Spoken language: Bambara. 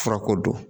Furako don